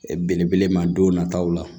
Belebele ma don nataw la